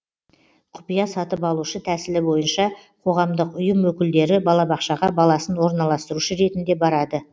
құпия сатып алушы тәсілі бойынша қоғамдық ұйым өкілдері балабақшаға баласын орналастырушы ретінде барады